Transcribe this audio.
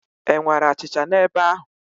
E nwere achịcha n'ebe ahụ?